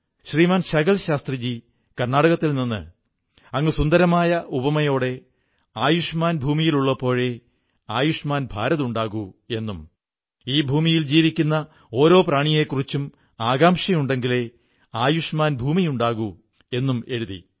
ശ്രീമാൻ ശകൽ ശാസ്ത്രീജീ കർണ്ണാടകത്തിൽ നിന്ന് അങ്ങ് സുന്ദരമായ ഉപമയോടെ ആയുഷ്മാൻ ഭൂമിയുള്ളപ്പോഴേ ആയുഷ്മാൻ ഭാരത് ഉണ്ടാകൂ എന്നും ഈ ഭൂമിയിൽ ജീവിക്കുന്ന ഓരോ ജീവിയെക്കുറിച്ചും ചിന്തയുണ്ടെങ്കിലേ ആയുഷ്മാൻ ഭൂമി ഉണ്ടാകൂ എന്നും എഴുതി